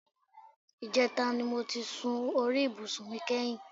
Ìjẹta ni mo ti sun orí ibùsùn mi kẹ́yìn